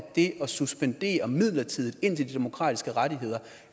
det at suspendere midlertidigt indtil de demokratiske rettigheder